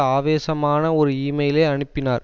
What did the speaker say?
ஆவேசமான ஒரு இமெயிலை அனுப்பினார்